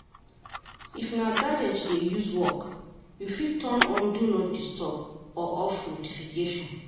If na gadget you dey use work, you fit turn on Do not Disturb or off notification